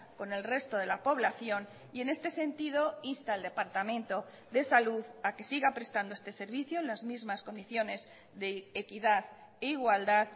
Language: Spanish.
con el resto de la población y en este sentido insta al departamento de salud a que siga prestando este servicio en las mismas condiciones de equidad e igualdad